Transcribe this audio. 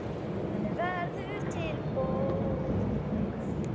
Þannig verður til bók.